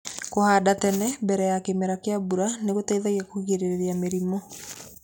Kũhanda tene mbere ya kĩmera kĩa mbura nĩgũteithagia kũgirĩrĩria mĩrimũ.